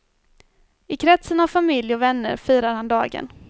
I kretsen av familj och vänner firar han dagen.